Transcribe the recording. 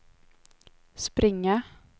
springa